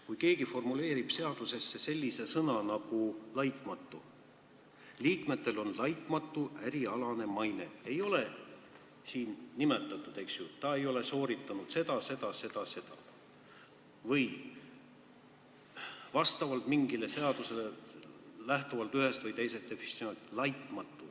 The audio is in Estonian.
Kui keegi formuleerib seadusesse sellise sõna nagu "laitmatu" – liikmetel on laitmatu ärialane maine –, siis ei ole siin nimetatud, et ta ei ole sooritanud seda, seda ja seda või ta on lähtuvalt mingist definitsioonist, seadusest, ühest või teisest laitmatu.